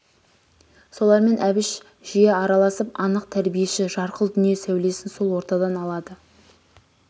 солармен әбіш жиі араласып анық тәрбиеші жарқыл дүние сәулесін сол ортадан алады